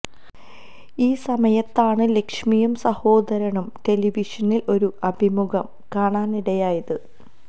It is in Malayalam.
ഈ സമയത്താണ് ലക്ഷ്മിയും സഹോദരനും ടെലവിഷനില് ഒരു അഭിമുഖം കാണാനിടയായത്